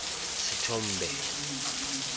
sethombe